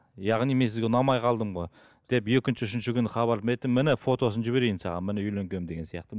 яғни мен сізге ұнамай қалдым ғой деп екінші үшінші күні хабар мен атамын міне фотосын жіберейін саған міне үйленгенмін деген сияқты